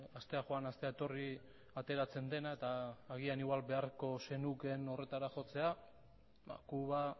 astea joan astea etorri ateratzen dena eta agian igual beharko zenukeen horretara jotzea kuba